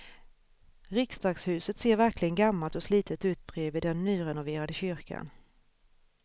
Riksdagshuset ser verkligen gammalt och slitet ut bredvid den nyrenoverade kyrkan.